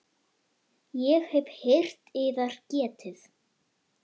Ég hef heyrt yðar getið.